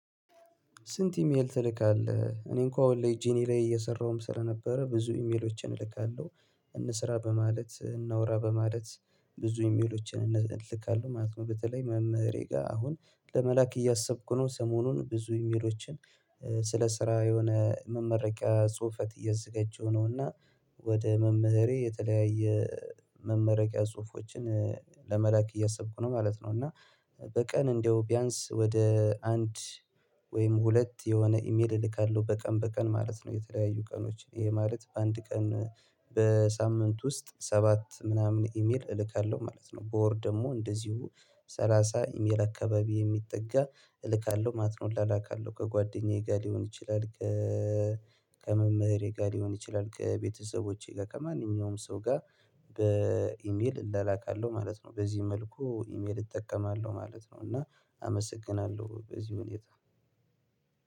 ስንት? ኢሜል ትልካለህ እኔ እንኳን ላይ ጂኒ ላይ እየሰራሁም ስለነበረ ብዙ ኢሜሎችን እልካለሁ እንስራ በማለት እናውራ በማለት ብዙ ኢሜሎችን እንልካለን ማለት ነው። በተለይ መምህሬ ጋር አሁን ለመላክ እያሰብኩ ነው ሰሞኑን ብዙ ኢሜሎችን ስለ ስራ የሆነ መመረቂያ ጽሁፈት እየዘገጀው ነውና ወደ መምህሬ የተለያየ መመረቂያ ጽሁፎችን ለመላክ እያሰብኩ ነው ማለት ነው። እና በቀን እንደው ቢያንስ ወደ አንድ ወይም ሁለት የሆነ ኢሜል እልካለሁ በቀን በቀን ማለት ነው። የተለያዩ ቀኖች ይሄ ማለት በአንድ ቀን በሳምንት ውስጥ ሰባት ምናምን ኢሜል እልካለሁ ማለት ነው። በወር ደግሞ እንደዚሁ ሰላሳ ኢሜል አካባቢ የሚጠጋ እልካለሁ ማለት እላላካለሁ ከጓደኛዬ ጋር ሊሆን ይችላል። ከመምህሬ ጋር ሊሆን ይችላል ከቤተሰቦቼ ጋር ከማንኛውም ሰው ጋር በኢሜል እንላላካለሁ ማለት ነው። በዚህ መልኩ ኢሜል እጠቀማለሁ ማለት ነው። እና አመሰግናለሁ በዚህ ሁኔታ።